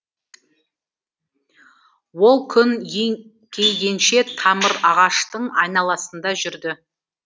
ол күн еңкейгенше тамыр ағаштың айналасында жүрді